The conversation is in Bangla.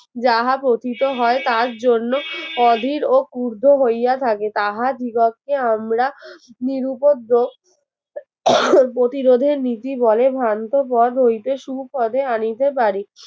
যাহা পতিত হয় তার জন্য অধীর ও কুর্দো হইয়া থাকে তাহার জীবনকে আমরা নিরুপদ্য প্রতিরোধে নীতি বলে ভ্রান্ত পদ হইতে শুপদে আনিতে পারি